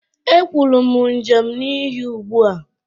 E kwuru m Njem n'ihu ụgbua